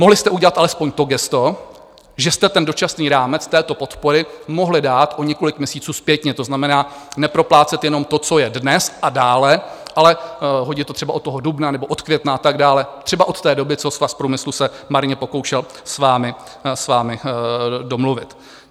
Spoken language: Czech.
Mohli jste udělat alespoň to gesto, že jste ten dočasný rámec této podpory mohli dát o několik měsíců zpětně, to znamená, neproplácet jenom to, co je dnes a dále, ale hodit to třeba od toho dubna nebo od května a tak dále, třeba od té doby, co Svaz průmyslu se marně pokoušel s vámi domluvit.